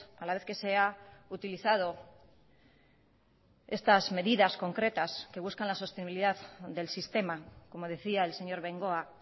a la vez que se ha utilizado estas medidas concretas que buscan la sostenibilidad del sistema como decía el señor bengoa